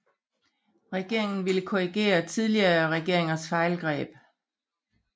Regeringen ville korrigere tidligere regeringers fejlgreb